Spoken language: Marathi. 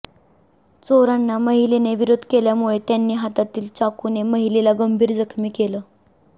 चोरांना महिलेने विरोध केल्यामुळे त्यांनी हातातील चाकूने महिलेला गंभीर जखमी केलं